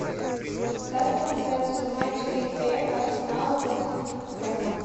ставь трансляцию матча апл арсенала против тоттенхэма